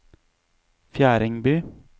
Fjerdingby